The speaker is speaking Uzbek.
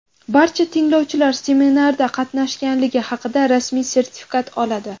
Barcha tinglovchilar seminarda qatnashganligi haqida rasmiy sertifikat oladi.